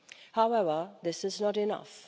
However, this is not enough.